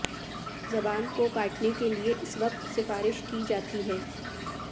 زبان کو کاٹنے کے لئے اس وقت سفارش کی جاتی ہے